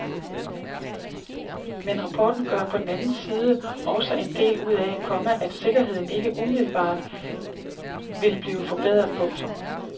Men rapporten gør på den anden side også en del ud af, komma at sikkerheden ikke umiddelbart vil blive forbedret. punktum